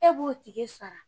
E b'o tike sara